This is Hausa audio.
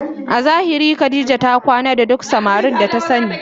A zahiri Khadijah ta kwana da duk samarin da ta sani